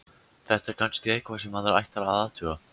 Þetta er kannski eitthvað sem maður ætti að athuga.